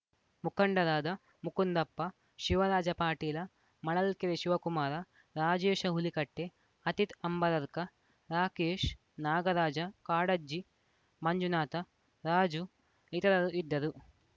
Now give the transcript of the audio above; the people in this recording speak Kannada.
ಮುಖಂಡರಾದ ಮುಕುಂದಪ್ಪ ಶಿವರಾಜ ಪಾಟೀಲ ಮಳಲ್ಕೆರೆ ಶಿವಕುಮಾರ ರಾಜೇಶ ಹುಲಿಕಟ್ಟೆ ಅತಿಥ್‌ ಅಂಬರಕರ್‌ ರಾಕೇಶ್‌ ನಾಗರಾಜ ಕಾಡಜ್ಜಿ ಮಂಜುನಾಥ ರಾಜು ಇತರರು ಇದ್ದರು